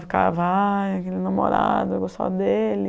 Ficava, ah, aquele namorado, eu gostava dele.